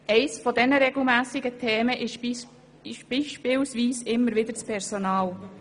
Eines der regelmässig immer wieder auftauchenden Themen ist beispielsweise das Personal.